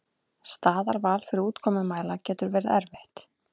Staðarval fyrir úrkomumæla getur verið erfitt.